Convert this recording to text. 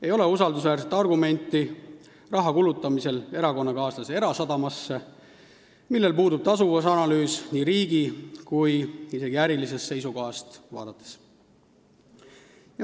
Ei ole usaldusväärset argumenti, miks kulutada raha erakonnakaaslase erasadama heaks, sellel puudub tasuvusanalüüs nii riigi kui isegi ka ärilisest seisukohast vaadates.